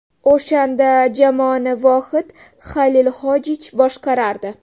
O‘shanda jamoani Vohid Xalilhojich boshqarardi.